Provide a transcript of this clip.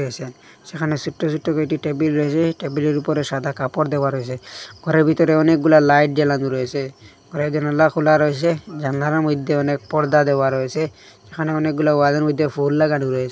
সেখানে সোট্ট সোট্ট কয়েকটি টেবিল রয়েসে টেবিলের উপরে সাদা কাপড় দেওয়া রয়েসে ঘরের ভিতরে অনেকগুলা লাইট জ্বালানো রয়েসে ঘরের জানলা খোলা রয়েসে জানলার মধ্যে অনেক পর্দা দেওয়া রয়েসে এখানে অনেকগুলা ওয়ালের মইধ্যে ফুল লাগানো রয়েসে।